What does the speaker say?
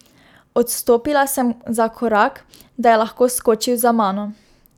Odstopila sem za korak, da je lahko skočil za mano.